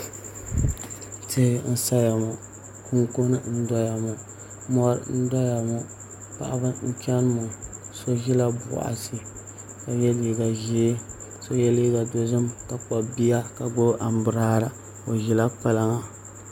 Tihi n saya ŋo kunkun n doya ŋo mori n doya ŋo paɣaba n chɛni ŋo so ʒila boɣati ka yɛ liiga ʒiɛ ka so yɛ liiga ʒiɛ ka kpabi bia ka gbubi anbirala o ʒila kpalaŋa